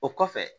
O kɔfɛ